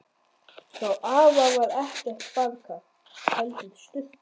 Hjá afa var ekkert baðkar, heldur sturta.